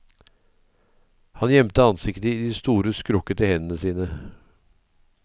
Han gjemte ansiktet i de store skrukkete hendene sine.